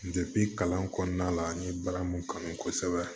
kalan kɔnɔna la n ye baara mun kanu kosɛbɛ